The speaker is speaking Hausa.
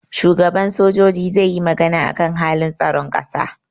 shugaba sojoji zai yi magana akan halin tsaron kasa